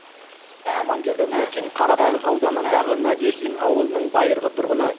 аманкелді нуркин қарабалық ауданындағы надеждин ауылының байырғы тұрғыны